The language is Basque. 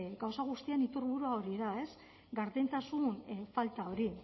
gauza guztion iturburua hori da ez gardentasun falta hori